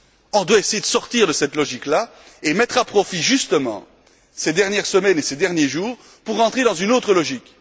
On doit essayer de sortir de cette logique là et mettre à profit ces dernières semaines et ces derniers jours pour entrer dans une autre logique.